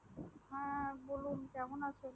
হ্যাঁ বলুন কেমন আছেন